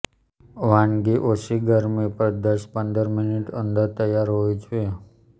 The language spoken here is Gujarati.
વાનગી ઓછી ગરમી પર દસ પંદર મિનિટ અંદર તૈયાર હોવી જોઈએ